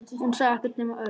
Hún sá ekkert nema Örn.